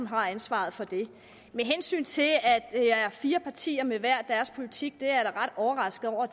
har ansvaret for det med hensyn til at det er fire partier med hver deres politik er jeg meget overrasket over